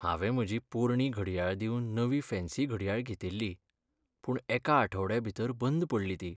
हांवें म्हजी पोरणी घडयाळ दिवन नवीं फॅन्सी घडयाळ घेतिल्ली, पूण एका आठवड्या भितर बंद पडली ती.